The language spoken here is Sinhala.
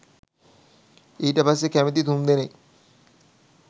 ඊට පස්සේ කැමති තුන්දෙනෙක්